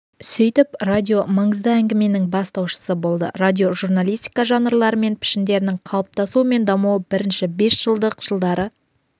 сөйтіп радио маңызды әңгіменің бастаушысы болды радиожурналистика жанрлары мен пішіндерінің қалыптасуы мен дамуы бірінші бесжылдық жылдары